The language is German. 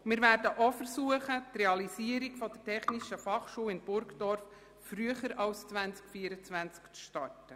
Wir werden ebenso versuchen, früher als im Jahr 2024 mit der Realisierung der Technischen Fachschule in Burgdorf zu beginnen.